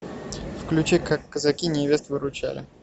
включи как казаки невест выручали